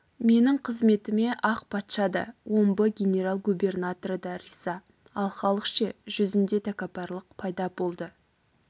менің қызметіме ақ патша да омбы генерал-губернаторы да риза ал халық ше жүзінде тәкаппарлық пайда болды